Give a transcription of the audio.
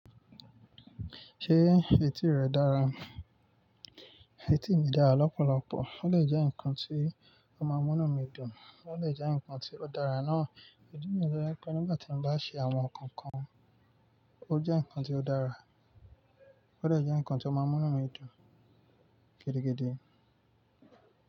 Ṣé etí rẹ dára? Etí mi dára lọ́pọ̀lọpọ̀. Ó lè jẹ́ ǹkan tí ó máa ń múnú mi dùn. Ó lè jẹ́ ǹkan tí ó dára náà. Ìdí níyèn tó jẹ́ pé nígbà tí mo bá ń ṣe àwọn nǹkan kan, ó jẹ́ ǹkan tí ó dára. Ó dè jẹ́ ǹkan tí ó máa ń múnú mi dùn gidigidi.